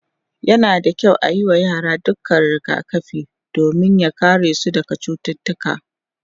yana da kyau ayi wa yara dukkan rigakafi domin ya karesu daga cututtuka